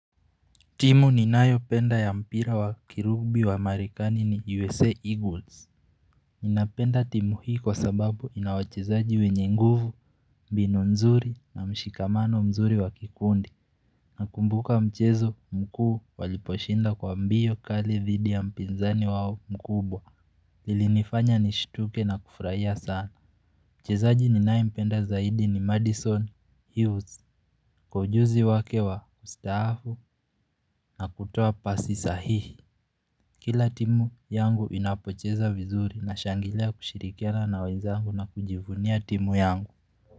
Timu ni nayo penda ya mpira wa kirugbi wa Amerikani ni USA Eagles. Ninapenda timu hii kwa sababu ina wachezaji wenye nguvu, binu mzuri na mshikamano mzuri wa kikundi. Nakumbuka mchezo mkuu waliposhinda kwa mbio kali vidi ya mpinzani wao mkubwa. Ilinifanya nishituke na kufurahia sana. Mchezaji ninaye mpenda zaidi ni Madison Hughes. Kwa ujuzi wake wa ustaafu na kutoa pasi sahihi. Kila timu yangu inapocheza vizuri nashangilia kushirikiana na wenzangu na kujivunia timu yangu.